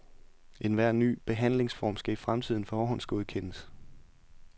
Enhver ny behandlingsform skal i fremtiden forhåndsgodkendes.